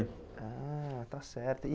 Ah, está certo e.